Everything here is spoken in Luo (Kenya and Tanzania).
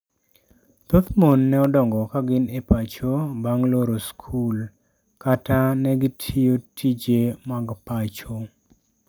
Thoth mon ne odongo ka gin e pacho bang loro skul, kata ne gitiyo tije mag pacho.